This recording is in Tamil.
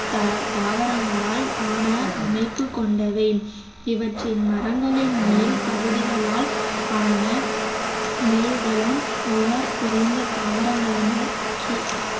த~ தாவரங்களால் ஆன அமைப்புக் கொண்டவை இவற்றில் மரங்களின் மேல் பகுதிகளால் ஆன மேல்தளம் உயர் குறைந்த தாவரங்களினால்